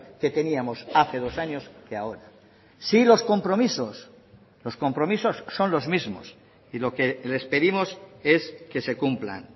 que teníamos hace dos años que ahora sí los compromisos los compromisos son los mismos y lo que les pedimos es que se cumplan